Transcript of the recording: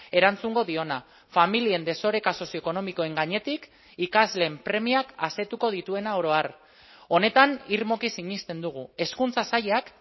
erantzungo diona familien desoreka sozio ekonomikoen gainetik ikasleen premiak asetuko dituena oro har honetan irmoki sinesten dugu hezkuntza sailak